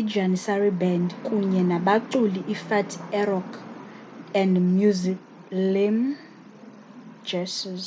ijanissary band kunye nabaculi ifatih erkoç and müslüm gürses